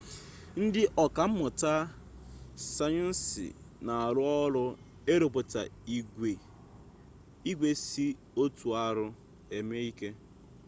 ndị ọka mmụta sayensị na-arụ ọrụ ịrụpụta igwe si oti ahụ eme ike